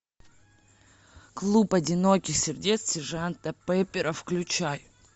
клуб одиноких сердец сержанта пеппера включай